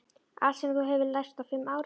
Allt sem þú hefur lært á fimm árum.